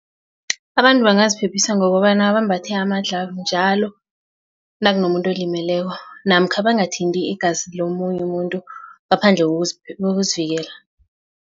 Abantu bangaziphephisa ngokobana bambathe amadlhavu njalo nakunomuntu olimeleko namkha bangathandi igazi lomunye umuntu ngaphandle kokuzivikela.